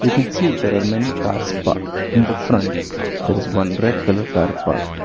We can see there are many cars parked in the front that is one red colour car parked.